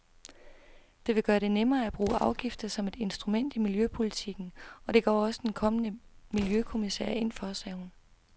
Det vil gøre det nemmere at bruge afgifter som et instrument i miljøpolitikken, og det går den kommende miljøkommissær ind for, sagde hun.